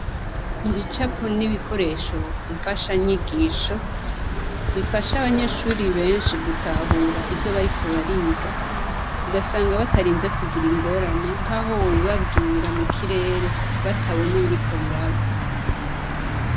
Ibicapo n'ibikoresho mfashanyigisho, bifasha abanyeshure benshi gutahura ivyo bariko bariga, ugasanga batarinze kugira ingorane nk'aho wobibabwira mu kirere batabona ibiriko biraba.